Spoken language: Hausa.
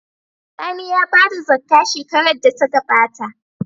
Sani ya bada zakkah shekarar da ta gabata